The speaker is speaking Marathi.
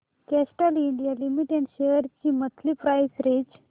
कॅस्ट्रॉल इंडिया लिमिटेड शेअर्स ची मंथली प्राइस रेंज